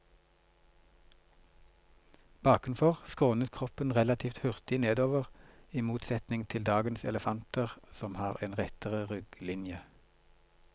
Bakenfor skrånet kroppen relativt hurtig nedover, i motsetning til dagens elefanter som har en rettere rygglinje.